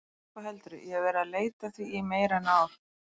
Já, hvað heldurðu, ég hef verið að leita að því í meira en ár.